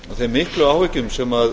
þeim miklu áhyggjum sem